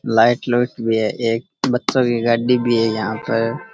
Light लुइट भी है एक बच्चों की गाड़ी भी है यहाँ पर।